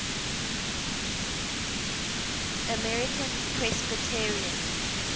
american presbyterians